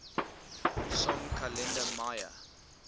song kalenda maya